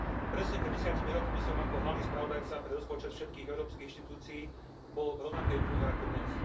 Presne pred desiatimi rokmi som bol ako hlavný spravodajca pre rozpočet všetkých európskych inštitúcií v rovnakej úlohe ako dnes.